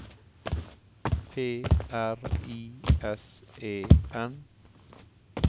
P R I S E N